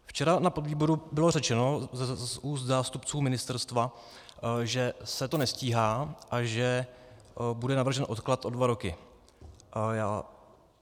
Včera na podvýboru bylo řečeno z úst zástupců ministerstva, že se to nestíhá a že bude navržen odklad o dva roky.